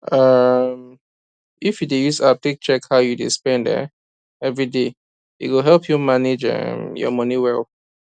um if you dey use app take check how you dey spend um everyday e go help you manage um your money well